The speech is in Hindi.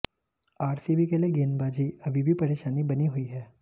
आरसीबी के लिए गेंदबाजी अभी भी परेशानी बनी हुई है